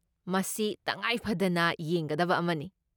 ꯃꯁꯤ ꯇꯉꯥꯏꯐꯗꯅ ꯌꯦꯡꯒꯗꯕ ꯑꯃꯅꯤ꯫